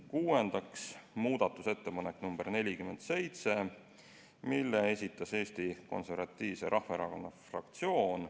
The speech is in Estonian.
Kuuendaks, muudatusettepanek nr 47, mille esitas Eesti Konservatiivse Rahvaerakonna fraktsioon.